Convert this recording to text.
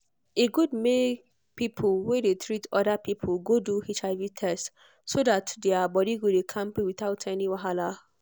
e good make people wey dey treat other people go do hiv test so that their body go dey kampe without any wahala.